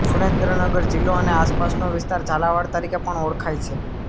સુરેન્દ્રનગર જિલ્લો અને આસપાસનો વિસ્તાર ઝાલાવાડ તરીકે પણ ઓળખાય છે